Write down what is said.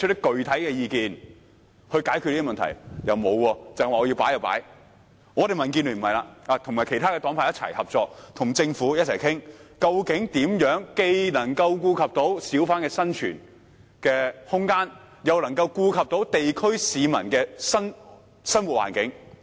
民主建港協進聯盟卻不會這樣行事，我們和其他黨派合作，並與政府共同商討，究竟如何既能顧及小販的生存空間，又能顧及地區市民的生活環境。